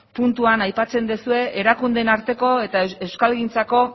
puntuan aipatzen duzue erakundeen arteko eta euskalgintzako